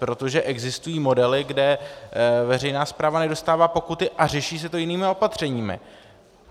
Protože existují modely, kde veřejná správa nedostává pokuty a řeší se to jinými opatřeními.